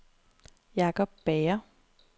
Jakob Bager